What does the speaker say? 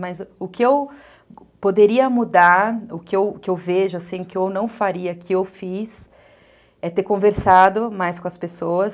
Mas o que eu poderia mudar, o que que eu vejo, o que eu não faria, o que eu fiz, é ter conversado mais com as pessoas.